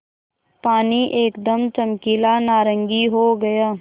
पानी एकदम चमकीला नारंगी हो गया